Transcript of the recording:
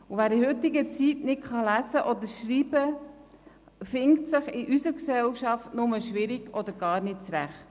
Wer in der heutigen Zeit nicht lesen oder schreiben kann, findet sich in unserer Gesellschaft nur mit Mühe oder gar nicht zurecht.